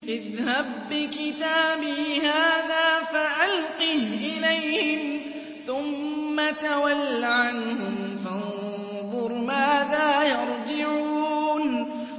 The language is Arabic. اذْهَب بِّكِتَابِي هَٰذَا فَأَلْقِهْ إِلَيْهِمْ ثُمَّ تَوَلَّ عَنْهُمْ فَانظُرْ مَاذَا يَرْجِعُونَ